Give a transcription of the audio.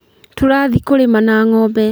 Tũrathiĩ kũrĩma na ng'ombe.